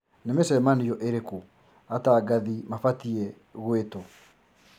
Nĩ mĩcemanio ĩrĩku atangathi mabatie gũĩtwo